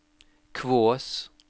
Kvås